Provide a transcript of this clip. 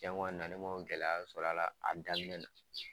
Jango a na ni kɔ gɛlɛya sɔrɔala a daminɛ na